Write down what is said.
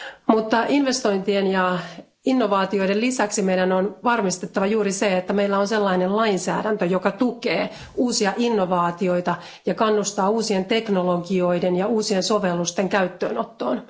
Mutta investointien ja innovaatioiden lisäksi meidän on varmistettava juuri se, että meillä on sellainen lainsäädäntö, joka tukee uusia innovaatioita ja kannustaa uusien teknologioiden ja uusien sovellusten käyttöönottoon.